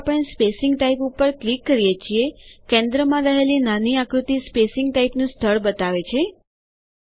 જેવું આપણે spacing type ઉપર ક્લિક કરીએ છીએકેન્દ્રમાં રહેલી નાની આકૃતિ સ્પેસીંગ ટાઈપનું સ્થળ બતાવે છે